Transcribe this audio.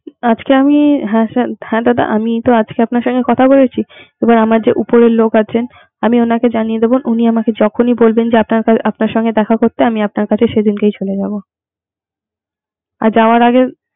আজকে আমি হ্যা দাদা, আজিকে তো আমি আপনার সাথে কথা বলেছি। এবার আমাদের উপরের লোক আছে। আমি ওনাকে জানিয়ে দিব। ওনি আমাকে যখন ই বলবেন যে আপনার সাথে দেখা করতে। আমি আপনার কাছে সেদিনকার চলে যাব। আর ও যাওয়ার আগেই